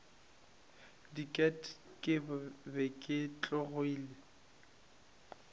diket ke be ke tšhogile